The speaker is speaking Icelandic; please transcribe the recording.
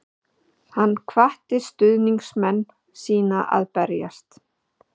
Hann hvatti stuðningsmenn sína að berjast